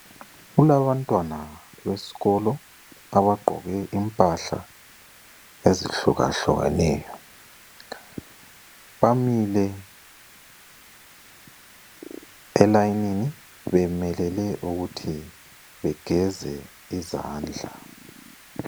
Kulabantwana besikolo abagqoke impahla ezihlukahlukeneyo, bamile elayinini bemelele ukuthi begeze izandla.